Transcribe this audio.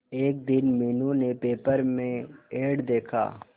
एक दिन मीनू ने पेपर में एड देखा